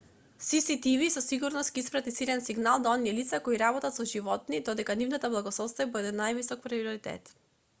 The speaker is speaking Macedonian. cctv со сигурност ќе испрати силен сигнал до оние лица кои работат со животни дека нивната благосостојба е од највисок приоритет